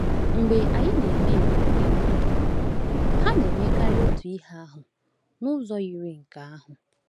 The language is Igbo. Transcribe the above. Mgbe anyị na-eme ebere nye mmadụ, ha na-emekarị otu ihe ahụ n’ụzọ yiri nke ahụ.